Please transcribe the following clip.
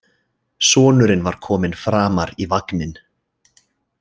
Sonurinn var kominn framar í vagninn.